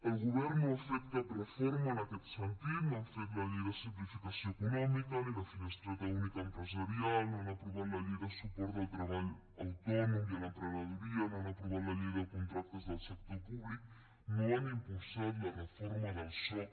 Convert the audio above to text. el govern no ha fet cap reforma en aquest sentit no ha fet la llei de simplificació econòmica ni la finestreta única empresarial no ha aprovat la llei de suport del treball autònom i a l’emprenedoria no ha aprovat la llei de contractes del sector públic no ha impulsat la reforma del soc